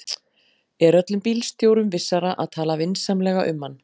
er öllum bílstjórum vissara að tala vinsamlega um hann